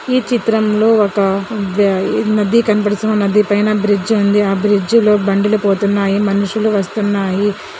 ఈ చిత్రంలో ఒక ద ఇ మధ్య కనబడుతున్న నధ్య పైన బ్రిడ్జ్ ఉందిఆ బ్రిడ్జ్ లో బండలు పోతున్నాయి మనుషులు వస్తున్నాయి.